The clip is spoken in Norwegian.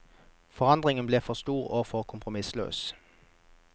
Forandringen ble for stor og for kompromissløs.